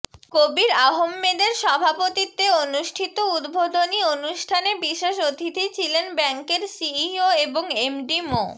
কবির আহম্মেদের সভাপতিত্বে অনুষ্ঠিত উদ্বোধনী অনুষ্ঠানে বিশেষ অতিথি ছিলেন ব্যাংকের সিইও এবং এমডি মো